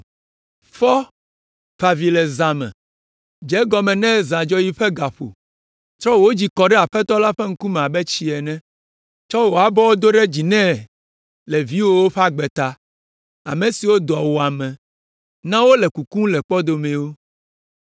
Fɔ, fa avi le zã me, dze egɔme ne zãdzɔɣi ƒe ga ƒo, trɔ wò dzi kɔ ɖe Aƒetɔ la ƒe ŋkume abe tsi ene. Tsɔ wò abɔwo do ɖe dzi nɛ le viwòwo ƒe agbe ta, ame siwo dɔwuame na wole kukum le kpɔdomewo.